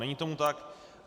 Není tomu tak.